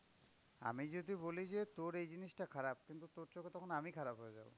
আমি যদি বলি যে তোর এই জিনিসটা খারাপ। কিন্তু তোর চোখে তখন আমি খারাপ হয়ে গেলাম।